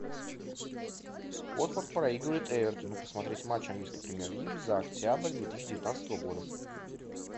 уотфорд проигрывает эвертону посмотреть матч английской премьер лиги за октябрь две тысячи девятнадцатого года